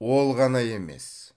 ол ғана емес